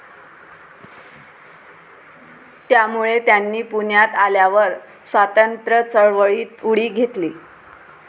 त्यामुळे त्यांनी पुण्यात आल्यावर स्वातंत्र्यचळवळीत उडी घेतली.